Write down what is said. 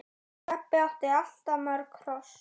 Stebbi átti alltaf mörg hross.